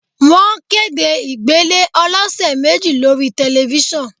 Wọ́n kéde ìgbélé ọlọsẹ̀ méjì lórí Tẹ̀lifísàn